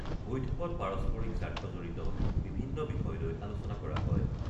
বৈঠকত পাৰস্পৰিক স্বাৰ্থজড়িত বিভিন্ন বিষয়লৈ আলোচনা কৰা হয়।